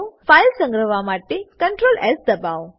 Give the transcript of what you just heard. file સંગ્રહવા માટે ctrls દબાવો